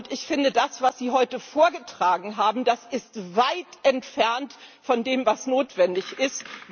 Ich finde, das, was Sie heute vorgetragen haben, ist weit entfernt von dem, was notwendig ist.